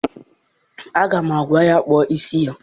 Aga m agwa ya, kpụọ isi gị!